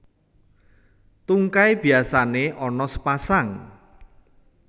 Tungkai biasané ana sepasang